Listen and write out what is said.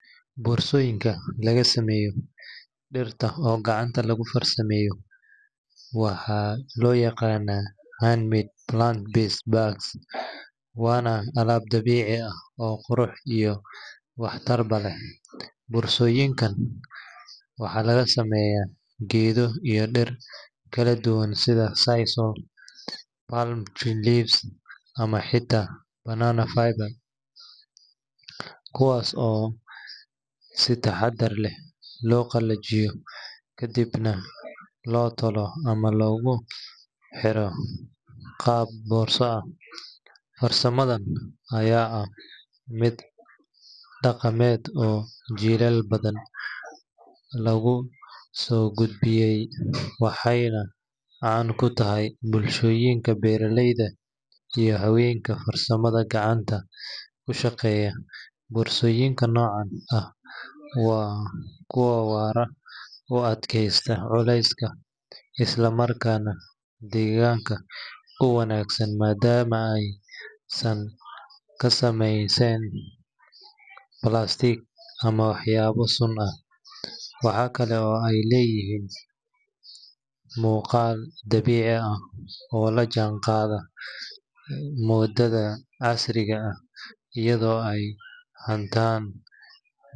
Boorsooyinka laga sameeyo dhirta oo gacanta lagu farsameeyo, waxaa loo yaqaanaa handmade plant-based bags, waana alaab dabiici ah oo qurux iyo waxtarba leh. Boorsooyinkan waxaa laga sameeyaa geedo iyo dhir kala duwan sida sisal, palm leaves, ama xitaa banana fiber, kuwaas oo si taxaddar leh loo qalajiyo, kadibna loo tolo ama loogu xiro qaab boorso ah. Farsamadan ayaa ah mid dhaqameed oo jiilal badan lagu soo gudbiyay, waxayna caan ka tahay bulshooyinka beeraleyda iyo haweenka farsamada gacanta ku shaqeeya. Boorsooyinka noocan ah waa kuwo waara, u adkaysta culayska, isla markaana deegaanka u wanaagsan maadaama aysan ka samaysnayn plastic ama waxyaabo sun ah. Waxa kale oo ay leeyihiin muuqaal dabiici ah oo la jaanqaadaya moodada casriga ah, iyadoo ay haatan.